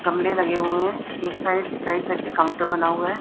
गमले बने हुए हैं। एक साइड राइट साइड पर काउंटर बना हुआ है।